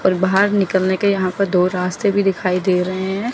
और बाहर निकलने के यहां पर दो रास्ते भी दिखाई दे रहे हैं।